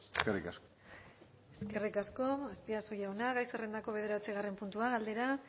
eskerrik asko eskerrik asko azpiazu jauna gai zerrendako bederatzigarren puntua galdera